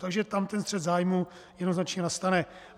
Takže tam ten střet zájmů jednoznačně nastane.